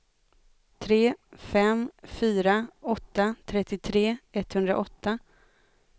tre fem fyra åtta trettiotre etthundraåtta